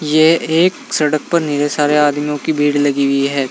ये एक सड़क पर सारे आदमियों की भीड़ लगी हुई है।